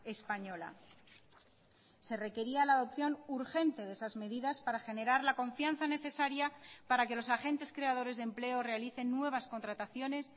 española se requería la adopción urgente de esas medidas para generar la confianza necesaria para que los agentes creadores de empleo realicen nuevas contrataciones